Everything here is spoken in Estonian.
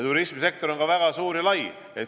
Turismisektor on väga suur ja lai.